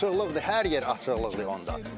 Açıqlıqdır, hər yer açıqlıq idi onda.